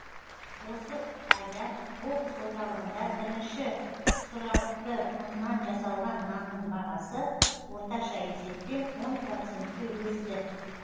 осы айда облыс орталығында бірінші сұрапты ұннан жасалған нанның бағасы орташа есеппен он процентке өсті